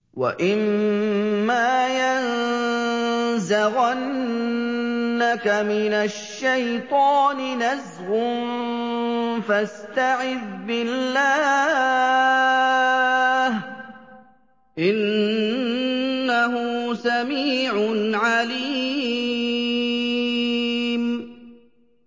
وَإِمَّا يَنزَغَنَّكَ مِنَ الشَّيْطَانِ نَزْغٌ فَاسْتَعِذْ بِاللَّهِ ۚ إِنَّهُ سَمِيعٌ عَلِيمٌ